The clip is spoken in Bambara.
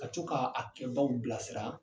Ka co k'a a kɛbaw bilasira